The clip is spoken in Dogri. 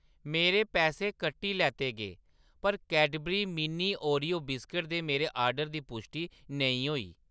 मेरे पैसे कट्टी लैते गे, पर कैडबरी मिनी ओरियो बिस्कुट दे मेरे आर्डर दी पुश्टि नेईं होई।